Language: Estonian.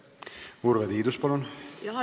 Urve Tiidus, palun!